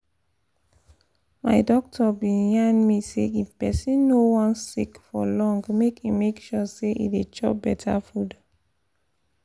my doctor been yarn me say if person no wan sick for long make e make sure say e dey chop better food